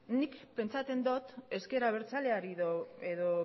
nik pentsatzen dut ezker abertzaleari edo